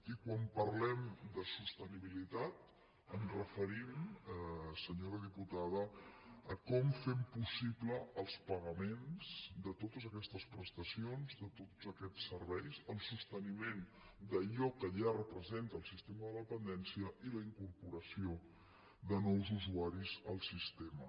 i quan parlem de sostenibilitat ens referim senyora diputada a com fem possibles els pagaments de totes aquestes prestacions de tots aquests serveis el sosteniment d’allò que ja representa el sistema de la dependència i la incorporació de nous usuaris al sistema